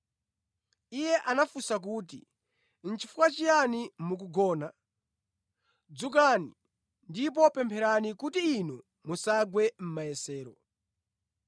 Iye anafunsa kuti, Nʼchifukwa chiyani mukugona? “Dzukani ndipo pempherani kuti inu musagwe mʼmayesero.”